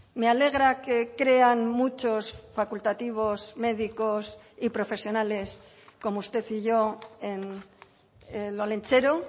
me alegra que crean muchos facultativos médicos y profesionales como usted y yo en el olentzero